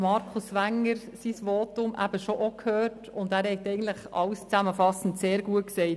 Er hat zusammenfassend eigentlich alles sehr gut gesagt.